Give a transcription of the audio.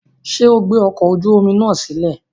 Ṣe o gbe ọkọ oju omi naa silẹ?